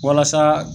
Walasa